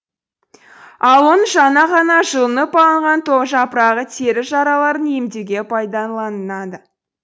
ал оның жаңа ғана жұлынып алынған жапырағы тері жараларын емдеуге пайдаланылады